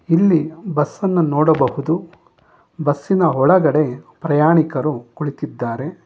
ಇಲ್ಲಿ ಬಸ್ಸನ್ನ ನೋಡಬಹುದು ಬಸ್ಸಿನ ಒಳಗಡೆ ಪ್ರಯಾಣಿಕರು ಕುಳಿತಿದ್ದಾರೆ.